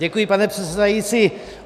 Děkuji, pane předsedající.